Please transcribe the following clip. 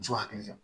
Muso hakili jɔ